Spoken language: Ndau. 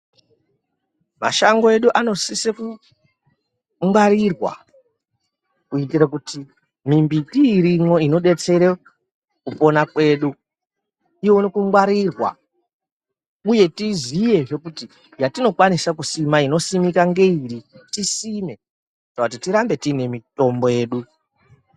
Mashango edu anosise kungwarirwa kuitire kuti mimbiti irimwo inobetsere kupona kwedu ione kungwarirwa, uye tiziyezve kuti yatinokwanisa kusima inosimika ngeiri tisime. Kana kuti tirambe tiine mitombo yedu.